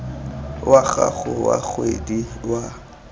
wa gago wa kgwedi wa